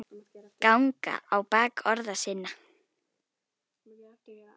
ganga á bak orða sinna